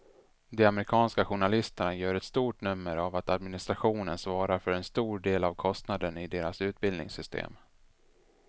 De amerikanska journalisterna gör ett stort nummer av att administrationen svarar för en stor del av kostnaden i deras utbildningssystem.